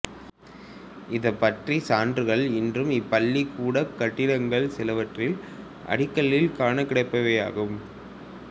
இது பற்றிய சான்றுகள் இன்றும் இப்பள்ளிக்கூடக் கட்டிடங்கள் சிலவற்றின் அடிக்கல்லில் காணக்கிடைப்பவையாகும்